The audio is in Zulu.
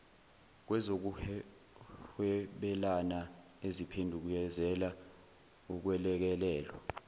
kwezokuhwebelana eziphendukezela ukwelekelelwa